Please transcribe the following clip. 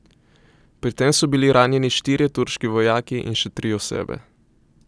Pri tem so bili ranjeni štirje turški vojaki in še tri osebe.